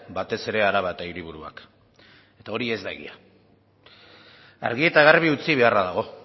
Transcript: batez ere araba eta hiriburuak eta hori ez da egia argi eta garbi utzi beharra dago